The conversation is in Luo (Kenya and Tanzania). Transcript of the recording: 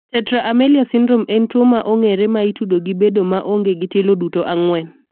Tetra amelia syndrome en tuo ma ong'ere ma itudo gi bedo ma onge gi tielo duto ang'wen.